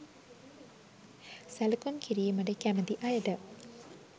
සැලකුම් කිරීමට කැමති අයට